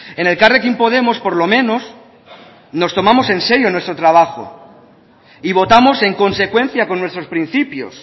en elkarrekin podemos por lo menos nos tomamos en serio nuestro trabajo y votamos en consecuencia con nuestros principios